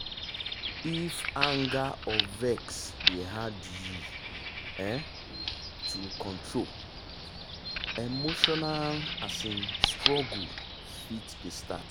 if anger or vex dey hard you um to control emotional um struggle fit dey start.